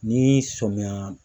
Ni sɔmiya.